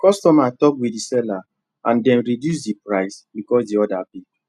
customer talk with the seller and dem reduce the price because the order big